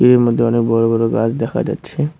এর মধ্যে অনেক বড় বড় গাছ দেখা যাচ্ছে।